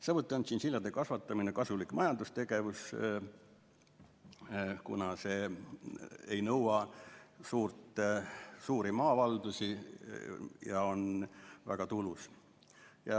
Samuti on tšintšiljade kasvatamine kasulik majandustegevus, kuna see ei nõua suuri maavaldusi ja on väga tulus.